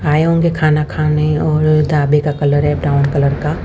आये होंगे खाना खाने और ढाबे का कलर है ब्राउन कलर का--